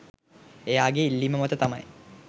එයාගේ ඉල්ලීම මත තමයි